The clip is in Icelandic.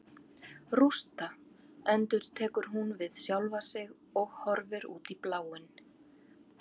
Rústa, endurtekur hún við sjálfa sig og horfir út í bláinn.